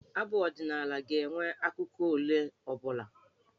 Abụ ọdịnaala ga-enwe akụkụ ole ọ bụla.